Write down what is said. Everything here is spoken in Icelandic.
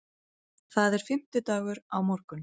Það er fimmtudagur á morgun.